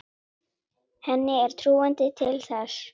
Henni er trúandi til þess.